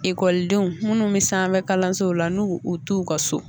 Ikɔlidenw minnu bɛ san fɛ kalansow la n'u t'u ka so!